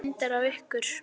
Svo fór hann að snökta.